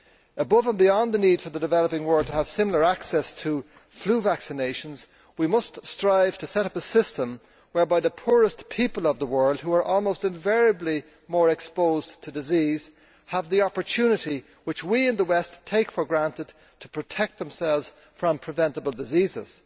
Above and beyond the need for the developing world to have similar access to flu vaccinations, we must strive to set up a system whereby the poorest people of the world, who are almost invariably more exposed to disease, have the opportunity which we in the West take for granted to protect themselves from preventable diseases.